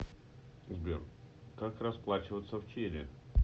сбер как расплачиваться в чили